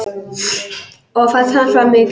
Og fall hans var mikið.